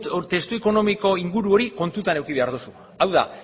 hori testu ekonomiko inguru hori kontutan eduki behar duzu hau da